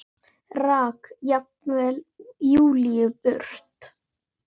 Rak jafnvel Júlíu burt.